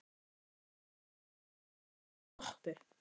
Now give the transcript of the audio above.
Hann var að hugsa svo mikið um Doppu.